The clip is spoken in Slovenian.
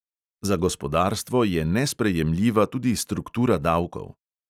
Za gospodarstvo je nesprejemljiva tudi struktura davkov.